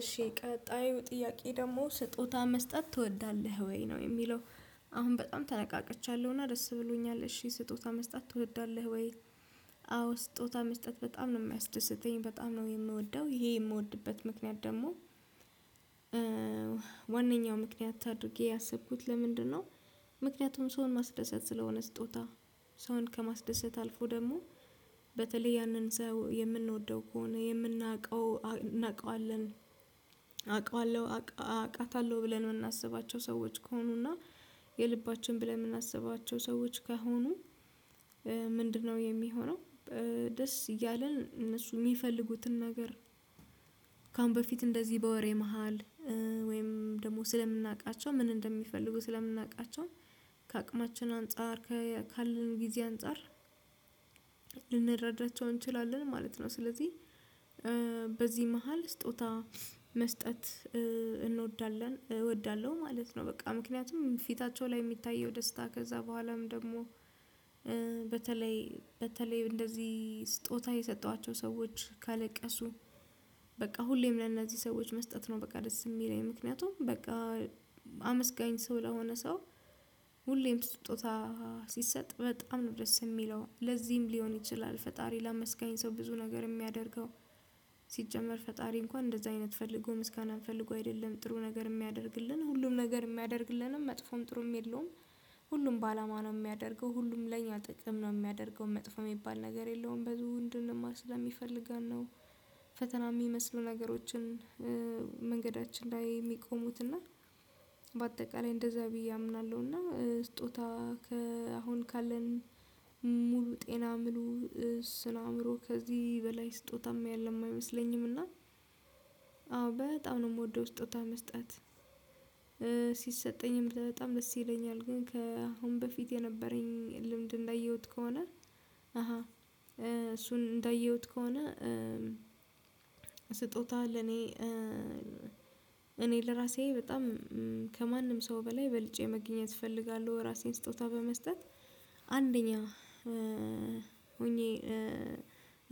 እሺ ቀጣዩ ጥያቄ ደግሞ ስጦታ መስጠት ትወዳለህ ወይ ነው የሚለው? አሁን በጣም ተነቃቃቻለሁ እና ደስ ብሎኛል እሺ ስጦታ መስጠት ትወዳለህ ወይ? አዎ ስጦታ መስጠት በጣም ነው የሚያስደስተኝ በጣም ነው የምወደው ይሄ የምወድበት ምክንያት ደግሞ ዋናኛው ምክንያት አድርጌ ያሰብኩት ለምንድነው? ምክንያቱም ሰውን ማስደሰት ስለሆነ ስጦታ ሰውን ከማስደሰት አልፎ ደግሞ በተለይ ያንን ሰው የምንወደው ከሆነ የምናውቀው እናውቀዋለን አውቀዋለሁ አውቃታለሁ ብለን የምናስባቸው ሰዎች ከሆኑና የልባችን ብለን የምናስባቸው ሰዎች ከሆኑ ምንድነው የሚሆነው ደስ እያለን እነሱ የሚፈልጉትን ነገር ከአሁን በፊት እንደዚህ በወሬ መሃል ወይም ደግሞ ስለምናውቃቸው ምን እንደሚፈልጉ ስለምናውቃቸው ከአቅማችን አንፃር ካለን ጊዜ አንፃር ልንረዳቸው እንችላለን ማለት ነው። ስለዚህ በዚህ መሃል ስጦታ መስጠት እንወዳለን እወዳለሁ ማለት ነው። በቃ ምክንያቱም ፊታቸው ላይ የሚታየው ደስታ ከዛ በኋላም ደግሞ በተለይ በተለይ እንደዚህ ስጦታ የሰጠኋቸው ሰዎች ካለቀሱ በቃ ሁሌም ለእናዚህ ሰዎች መስጠት ነው። በቃ ደስ የሚለኝ ምክንያቱም በቃ አመስጋኝ ሰው ለሆነ ሰው ሁሌም ስጦታ ሲሰጥ በጣም ነው ደስ የሚለው ለዚህም ሊሆን ይችላል ፈጣሪ ለመስጋኝ ሰው ብዙ ነገር የሚያደርገው። ሲጀመር ፈጣሪ እንኳን እንደዛ አይነት ፈልጎ ምስጋናን ፈልጎ አይደለም ጥሩ ነገር የሚያደርግልን ሁሉም ነገር የሚያደርግልንም መጥፎም ጥሩም የለውም ሁሉም በአላማ ነው የሚያደርገው ሁሉም ለእኛ ጥቅም ነው የሚያደርገው መጥፎ የሚባል ነገር የለውም። በዙህንድን ማስዳ የሚፈልጋን ነው ፈተና የሚመስሉ ነገሮችን መንገዳችን ላይ የሚቆሙት በአጠቃላይ እንደዛ ብዬ አምናለሁና ስጦታ ከአሁን ካለን ሙሉ ጤና ምሉ ስናምሮ ከዚህ በላይ ስጦታም የለም አይመስለኝም። እና በጣም ነው የምወደው ስጦታ መስጠት ሲሰጠኝም በጣም ደስ ይለኛል። ግን ከአሁን በፊት የነበረኝ ልምድ እንዳየሁት ከሆነ እሱን እንዳየሁት ከሆነ ስጦታ ለኔ እኔ ለራሴ በጣም ከማንም ሰው በላይ በልጬ መገኘት እፈልጋለሁ። ራሴን ስጦታ በመስጠት አንደኛ ሆኜ